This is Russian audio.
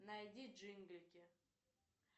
найди джинглики